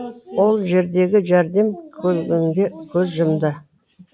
ол жердегі жәрдем көлігінде көз жұмды